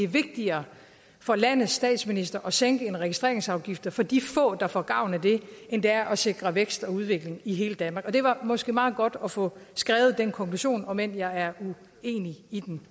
er vigtigere for landets statsminister at sænke registreringsafgiften for de få der får gavn af det end det er at sikre vækst og udvikling i hele danmark og det var måske meget godt at få skrevet den konklusion om end jeg er uenig i den